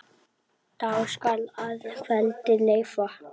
Dag skal að kveldi leyfa.